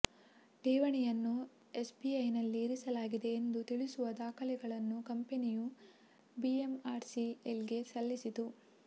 ಠೇವಣಿಯನ್ನು ಎಸ್ಬಿಐನಲ್ಲಿ ಇರಿಸಲಾಗಿದೆ ಎಂದು ತಿಳಿಸುವ ದಾಖಲೆಗಳನ್ನು ಕಂಪನಿಯು ಬಿಎಂಆರ್ಸಿಎಲ್ಗೆ ಸಲ್ಲಿಸಿತ್ತು